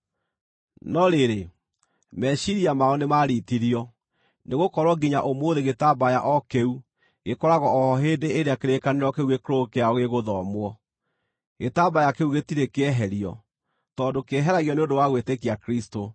No rĩrĩ, meciiria mao nĩmaritirio, nĩgũkorwo nginya ũmũthĩ gĩtambaya o kĩu gĩkoragwo o ho hĩndĩ ĩrĩa kĩrĩkanĩro kĩu gĩkũrũ kĩao gĩgũthomwo. Gĩtambaya kĩu gĩtirĩ kĩeherio, tondũ kĩeheragio nĩ ũndũ wa gwĩtĩkia Kristũ.